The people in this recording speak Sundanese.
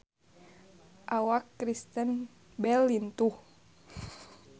Awak Kristen Bell lintuh